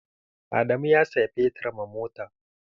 Adamu ya saya fetur ma mota.